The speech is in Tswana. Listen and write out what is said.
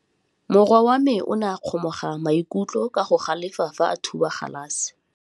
Morwa wa me o ne a kgomoga maikutlo ka go galefa fa a thuba galase.